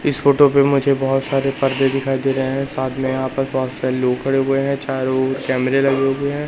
इस फोटो पे मुझे बहोत सारे पर्दे दिखाई दे रहे हैं साथ में यहाँ पर बहोत सारे लोग खड़े हुए हैं चारों ओर कैमरे लगे हुए हैं।